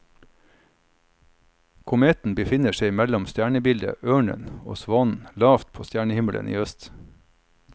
Kometen befinner seg mellom stjernebildet ørnen og svanen lavt på stjernehimmelen i øst.